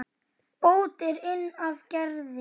Bót er inn af græði.